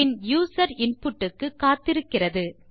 பின் user input க்கு காத்திருக்கிறது